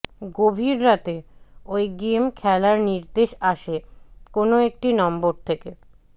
গভীর রাতে ওই গেম খেলার নির্দেশ আসে কোনও একটি নম্বর থেকে